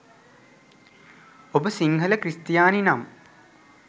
ඔබ සිංහල ක්‍රිස්තියානි නම්